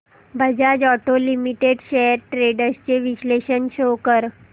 Bajaj auto limited shares trends चे विश्लेषण show कर